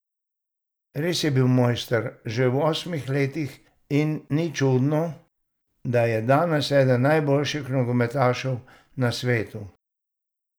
Res je bil mojster že v rosnih letih in ni čudno, da je danes eden najboljših nogometašev na svetu.